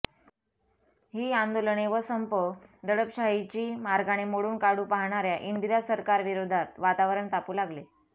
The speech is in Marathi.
ही आंदोलने व संप दडपशाहीच्यी मार्गाने मोडून काढू पहाणाऱ्या इंदिरा सरकारविरोधात वातावरण तापू लागले